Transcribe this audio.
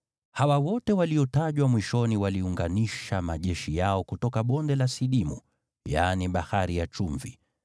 Hawa wote waliotajwa mwishoni waliunganisha majeshi yao kutoka Bonde la Sidimu (yaani Bahari ya Chumvi).